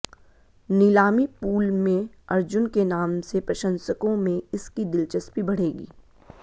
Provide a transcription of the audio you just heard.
नीलामी पूल में अर्जुन के नाम से प्रशंसकों में इसकी दिलचस्पी बढ़ेगी